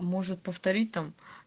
а может повторит там